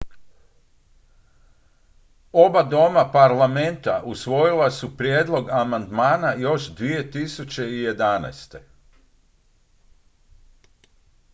oba doma parlamenta usvojila su prijedlog amandmana još 2011